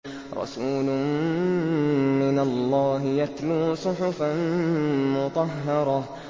رَسُولٌ مِّنَ اللَّهِ يَتْلُو صُحُفًا مُّطَهَّرَةً